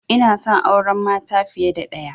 Inason auran mata fiya da ɗaya